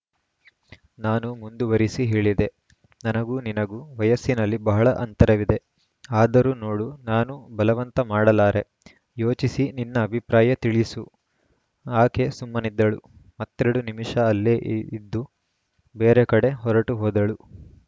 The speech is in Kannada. ನಾನು ಮುಂದುವರಿಸಿ ಹೇಳಿದೆ ನನಗೂ ನಿನಗೂ ವಯಸ್ಸಿನಲ್ಲಿ ಬಹಳ ಅಂತರವಿದೆ ಆದರೂ ನೋಡು ನಾನು ಬಲವಂತ ಮಾಡಲಾರೆ ಯೋಚಿಸಿ ನಿನ್ನ ಅಭಿಪ್ರಾಯ ತಿಳಿಸು ಆಕೆ ಸುಮ್ಮನಿದ್ದಳು ಮತ್ತೆರಡು ನಿಮಿಷ ಅಲ್ಲೇ ಇದ್ದು ಬೇರೆ ಕಡೆ ಹೊರಟು ಹೋದಳು